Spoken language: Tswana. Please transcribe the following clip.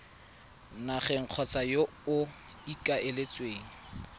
nageng kgotsa yo o ikaeletseng